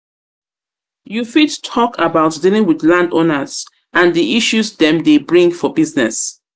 You fit talk about dealing with landowners and di issues dem dey bring for business?